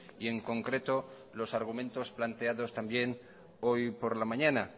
y en concreto los argumentos planteados también hoy por la mañana